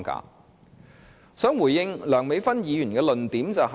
就此，我想回應梁美芬議員的論點。